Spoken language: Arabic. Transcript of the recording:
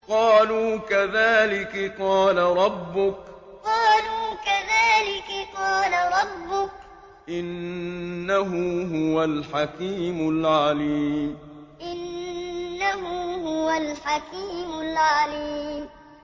قَالُوا كَذَٰلِكِ قَالَ رَبُّكِ ۖ إِنَّهُ هُوَ الْحَكِيمُ الْعَلِيمُ قَالُوا كَذَٰلِكِ قَالَ رَبُّكِ ۖ إِنَّهُ هُوَ الْحَكِيمُ الْعَلِيمُ